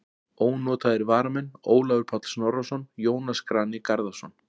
Ónotaðir varamenn: Ólafur Páll Snorrason, Jónas Grani Garðarsson.